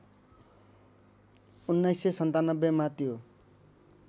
१९९७ मा त्यो